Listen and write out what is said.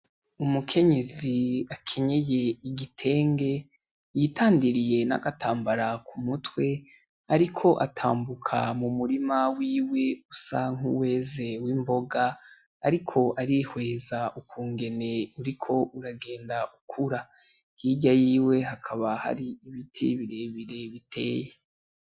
Umukenyezi akenyeye igitenge yitandiriye n'agatambara ku mutwe, ariko atambuka mu murima wiwe usa nk'uweze w'imboga, ariko ari hweza ukungene uriko uragenda ukura yirya yiwe hakaba har'ibiti birebire biteye.